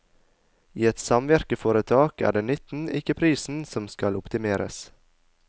I et samvirkeforetak er det nytten, ikke prisen, som skal optimeres.